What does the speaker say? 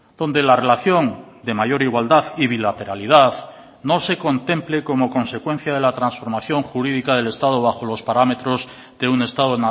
donde la relación de mayor igualdad y bilateralidad no se contemple como consecuencia de la transformación jurídica del estado bajo los parámetros de un estado